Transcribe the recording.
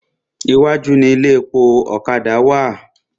Iwájú ni ilé epo ọ̀kadà wà.